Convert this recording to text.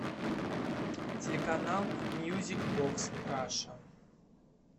телеканал мьюзик бокс раша